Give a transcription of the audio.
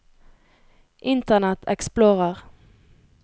internet explorer